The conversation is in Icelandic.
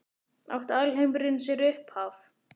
Átti alheimurinn sér upphaf?